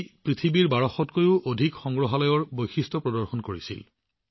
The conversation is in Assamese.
ইয়াত পৃথিৱীৰ ১২০০ তকৈও অধিক সংগ্ৰহালয়ৰ বিশেষত্ব দেখুওৱা হৈছিল